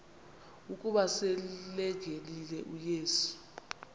ukuba selengenile uyesu